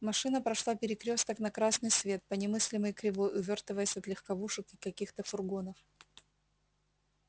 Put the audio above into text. машина прошла перекрёсток на красный свет по немыслимой кривой увёртываясь от легковушек и каких-то фургонов